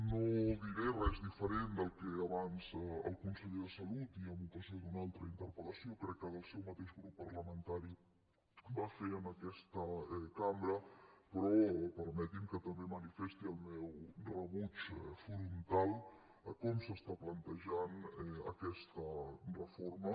no diré res diferent del que abans el conseller de salut i en ocasió d’una altra interpellació crec que del seu mateix grup parlamentari va fer en aquesta cambra però permeti’m que també manifesti el meu rebuig frontal a com s’està plantejant aquesta reforma